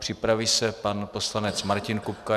Připraví se pan poslanec Martin Kupka.